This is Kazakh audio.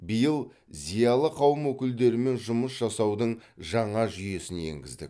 биыл зиялы қауым өкілдерімен жұмыс жасаудың жаңа жүйесін енгіздік